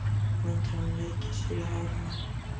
Og vindurinn leiki sér í hárinu á henni.